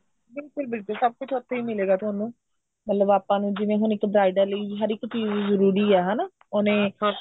ਬਿਲਕੁਲ ਬਿਲਕੁਲ ਸਭ ਕੁੱਝ ਉੱਥੇ ਹੀ ਮਿਲੇਗਾ ਤੁਹਾਨੂੰ ਮਤਲਬ ਆਪਾਂ ਨੂੰ ਹੁਣ ਜਿਵੇਂ ਇੱਕ bridal ਲਈ ਹਰ ਇੱਕ ਚੀਜ ਜਰੂਰੀ ਐ ਹਨਾ ਉਹਨੇ